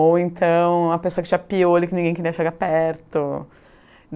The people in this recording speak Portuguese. Ou então a pessoa que tinha piolho e ninguém queria chegar perto.